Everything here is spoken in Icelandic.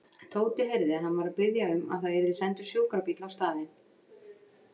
Tóti heyrði að hann var að biðja um að það yrði sendur sjúkrabíll á staðinn.